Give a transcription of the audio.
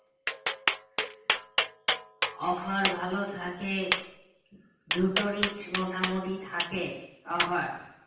offer ভালো থাকে দুটোরই মোটামুটি থাকে offer